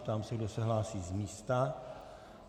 Ptám se, kdo se hlásí z místa.